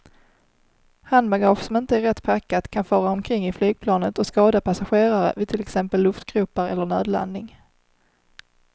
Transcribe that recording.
Handbagage som inte är rätt packat kan fara omkring i flygplanet och skada passagerare vid till exempel luftgropar eller nödlandning.